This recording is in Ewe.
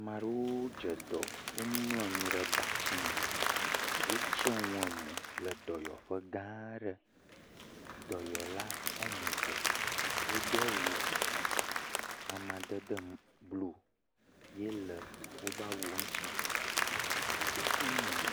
Wo dzedɔ wo mlɔ anyi ɖe batime wo tsɔ enu emɔ le dɔyɔƒegã aɖe dɔyɔla ame eve wo do awu amadede blu ye le woƒe awua wo ŋti